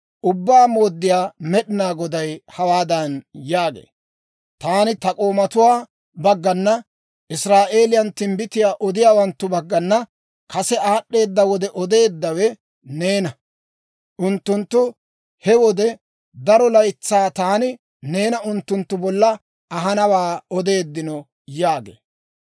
Ubbaa Mooddiyaa Med'inaa Goday hawaadan yaagee; «Taani ta k'oomatuwaa baggana, Israa'eeliyaan timbbitiyaa odiyaawanttu baggana kase aad'd'eeda wode odeeddawe neena. Unttunttu he wode daro laytsaa taani neena unttunttu bolla ahanawaa odeeddino» yaagee.